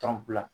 Tɔn bila